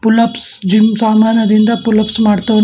Pull-ups gym ಸಾಮಾನದಿಂದ pullups ಮಾಡ್ತವ್ನೆ.